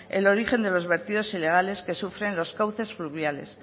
el origen de los vertidos ilegales que sufren los cauces fluviales